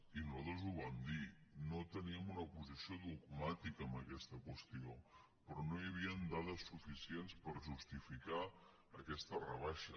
i nosal·tres ho vam dir no teníem una posició dogmàtica en aquesta qüestió però no hi havia dades suficients per justificar aquesta rebaixa